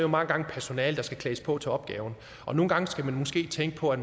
jo mange gange personalet der skal klædes på til opgaven nogle gange skal man måske tænke på at